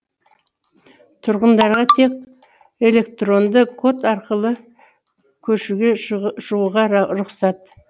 тұрғындарға тек электронды код арқылы көшеге шығуға рұқсат